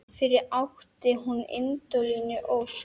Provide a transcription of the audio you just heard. Fyrir átti hún Indíönu Ósk.